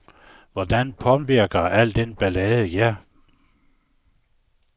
Hvordan påvirker al den ballade jer?